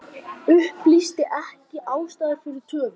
Upplýsir ekki ástæður fyrir töfum